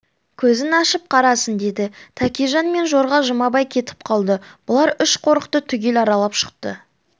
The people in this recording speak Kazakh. көзін ашып қарасын деді тәкежан мен жорға жұмабай кетіп қалды бұлар үш қорықты түгел аралап шықты